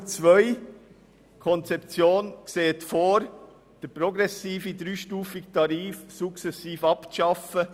: Die Konzeption sieht vor, den progressiven, dreistufigen Tarif sukzessive abzuschaffen.